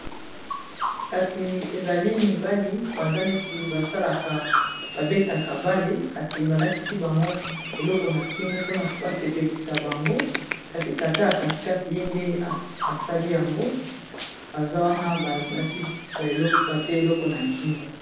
Kasi ezali mibali baza neti ba salaka ba betaka bale, kasi ba latisi bango eloko na kingo mpona ba sepelisa bango kasi tata ya kati kati ye nde asali yango baza wana batie eloko na kingo.